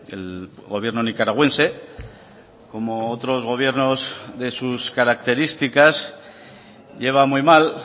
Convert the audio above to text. el gobierno nicaragüense como otros gobiernos de sus características lleva muy mal